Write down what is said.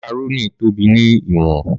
Màkàrónì tóbi ni iwọn.